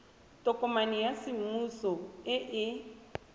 tokomane ya semmuso e e